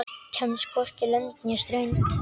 Kemst hvorki lönd né strönd.